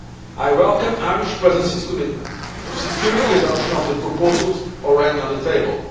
I welcome the Irish Presidency's commitment to securing the adoption of the proposals already on the table.